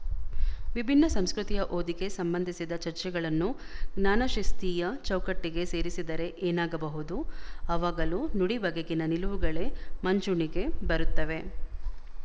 ವಿಭಿನ್ನ ಸಂಸ್ಕೃತಿಯ ಓದಿಗೆ ಸಂಬಂಧಿಸಿದ ಚರ್ಚೆಗಳನ್ನು ಜ್ಞಾನಶಿಸ್ತೀಯ ಚೌಕಟ್ಟಿಗೆ ಸೇರಿಸಿದರೆ ಏನಾಗಬಹುದು ಆವಾಗಲೂ ನುಡಿ ಬಗೆಗಿನ ನಿಲುವುಗಳೇ ಮುಂಚೂಣಿಗೆ ಬರುತ್ತವೆ